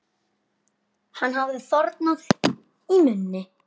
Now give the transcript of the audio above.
Hann hafði þornað í munni.